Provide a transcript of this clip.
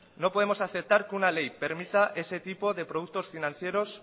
no podemos aceptar que una ley permita ese tipo de productos financieros